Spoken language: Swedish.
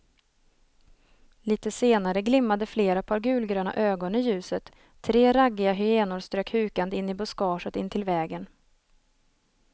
Litet senare glimmade flera par gulgröna ögon i ljuset, tre raggiga hyenor strök hukande in i buskaget intill vägen.